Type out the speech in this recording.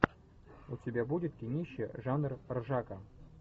у тебя будет кинище жанр ржака